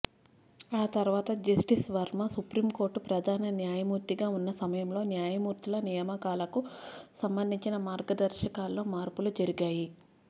ఆ తర్వాత justice Varma supreme court ప్రధాన న్యాయమూర్తిగా ఉన్న సమయంలో న్యాయమూర్తుల నియామకాలకు సంబంధించిన మార్గదర్శకాల్లో మార్పులు జరిగాయి